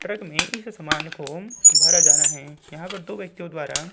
truck में इस समान को भरा जा रा है यहाँ पर दो व्यक्तियों द्वारा --